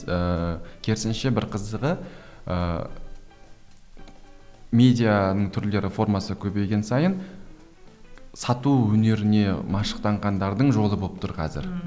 ыыы керісінше бір қызығы ыыы медианың түрлері формасы көбейген сайын сату өнеріне машықтанғандардың жолы болып тұр қазір ммм